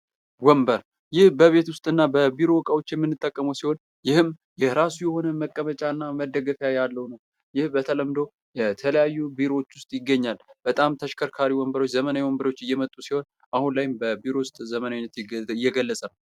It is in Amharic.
ወንበር ይህ በቤት ውስጥና በቢሮ እቃዎች የምንጠቀመው ሲሆን ይህም የራሱ የሆነ መቀመጫና መደገፊያ ያለው ይህ በተለምዶ በተለያዩ ቢሮዎች ውስጥ ይገኛል። በጣም ተሽከርካሪ ወንበሮች ዘመናዊ ወንበሮች እየመጡ ሲሆን አሁን ላይ ቢሮ ውስጥ ዘመናዊነትን እየገለፀ ነው።